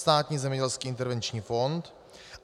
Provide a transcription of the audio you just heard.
Státní zemědělský intervenční fond.